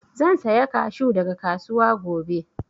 Zan saya kashu daga kasuwa gobe